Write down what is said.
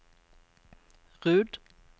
Rud